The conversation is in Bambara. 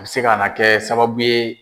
A be se ka na kɛ sababu ye